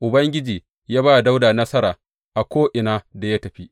Ubangiji ya ba Dawuda nasara a ko’ina da ya tafi.